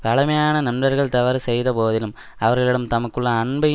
பழமையான நண்பர்கள் தவறு செய்த போதிலும் அவர்களிடம் தமக்குள்ள அன்பை